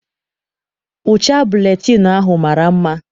Ụcha buletịịnụ ahụ mara mma.